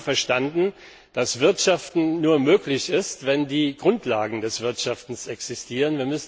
Sie haben verstanden, dass Wirtschaften nur möglich ist, wenn die Grundlagen des Wirtschaftens existieren.